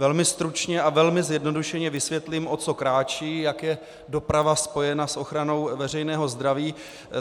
Velmi stručně a velmi zjednodušeně vysvětlím, o co kráčí, jak je doprava spojena s ochranou veřejného zdraví.